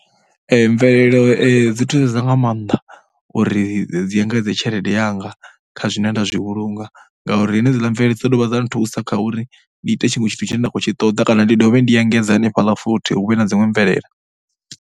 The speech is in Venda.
Mvelelo dzi thusedza nga maanḓa uri dzi engedze tshelede yanga kha zwine nda zwi vhulunga ngauri henedziḽa mvelelo dzi ḓo dovha dza nthusa kha uri ndi ite tshiṅwe tshithu tshine nda khou tshi ṱoḓa kana ndi dovhe ndi engedze hanefhaḽa futhi hu vhe na dziṅwe mvelelo.